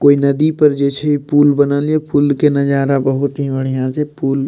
कोय नदी पर जे छै पूल बनल ये फूल के नजारा बहुत ही बढ़िया छै पूल --